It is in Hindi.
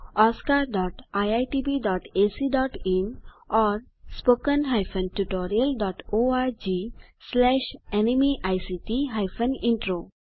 oscariitbacइन और spoken tutorialorgnmeict इंट्रो